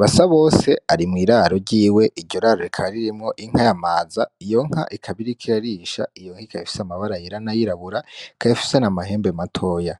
Basabose ari mw’iraro ryiwe iryo raro rikaba ririmwo inka Yamaza iyo nka ikaba iriko irarisha iyo nka ikaba ifise amabara ayera n'ayirabura ikaba ifise n'amahembe matoya